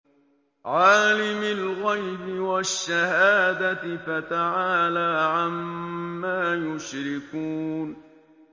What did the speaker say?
عَالِمِ الْغَيْبِ وَالشَّهَادَةِ فَتَعَالَىٰ عَمَّا يُشْرِكُونَ